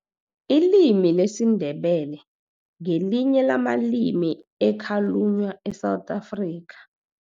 Ilimi lesiNdebele ngelinye lamalimi ekhalunywa e-South Africa.